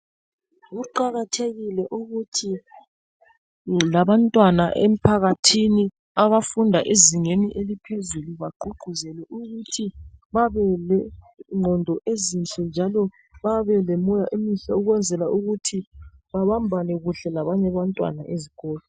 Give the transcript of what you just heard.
Kuqakathekile ukuthi labantwana emphakathini abafunda ezingeni eliphezulu bagqugquzele ukuthi babe lengqondo ezinhle ,lemoya emihle ukwenzela ukuthi babambane kuhle labanye abantwana ezikolo.